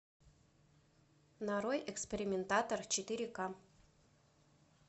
нарой экспериментатор четыре ка